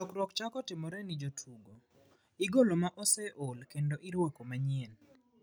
Lokruok chako timore ne jotugo, igolo ma oseol kendo iruako manyien.